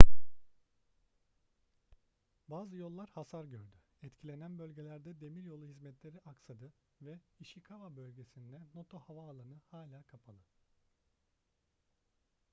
bazı yollar hasar gördü etkilenen bölgelerde demiryolu hizmetleri aksadı ve ishikawa bölgesindeki noto havaalanı hâlâ kapalı